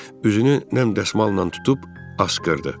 Üzünü nəmdəsmalla tutub asqırdı.